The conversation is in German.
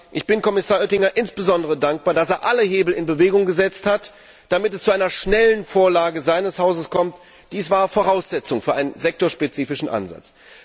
Ich bin Kommissar Oettinger insbesondere dankbar, dass er alle Hebel in Bewegung gesetzt hat, damit es zu einer schnellen Vorlage seines Hauses kommt. Dies war Voraussetzung für einen sektorspezifischen Ansatz.